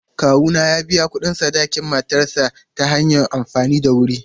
Kawuna ya biya kuɗin sadakin matarsa ​​ta hanyar amfani da wuri.